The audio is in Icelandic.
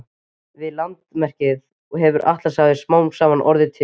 Við landrekið hefur Atlantshafið smám saman orðið til.